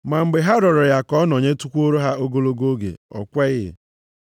Ma mgbe ha rịọrọ ya ka ọ nọnyetụkwuoro ha ogologo oge, ọ kweghị.